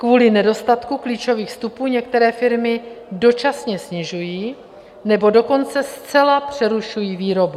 Kvůli nedostatku klíčových vstupů některé firmy dočasně snižují nebo dokonce zcela přerušují výrobu.